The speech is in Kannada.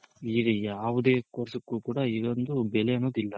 ಈಗ ಯಾವ್ದೆ course ಗೂ ಕೂಡ ಇದ್ ಒಂದ್ ಬೆಲೆ ಅನ್ನೋದ್ ಇಲ್ಲ.